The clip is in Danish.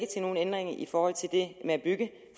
til nogen ændringer i forhold til det med at bygge